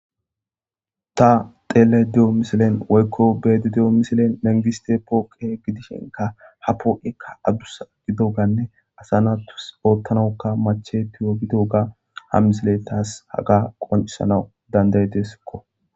Ta xeele de7o misilen woykko beedide7o misilen nangiste pooqe gidishenka ha poo7ekka adusa gido ganne asanatus oottanauka mache tiyo gido ga ha misile taas haga qoncisanau dandayedeesikko.